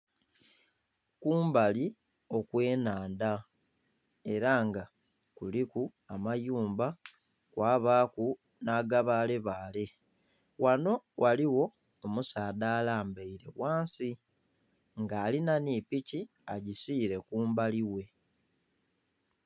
Kumbali okw'ennhandha era nga kuliku amayumba, kwabaaku nh'agabaalebaale. Ghano ghaligho omusaadha alambaile ghansi, nga alina nhi piki agisiile kumbali ghe.